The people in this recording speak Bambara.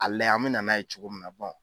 A layɛ an me na n'a ye cogo mina bɔn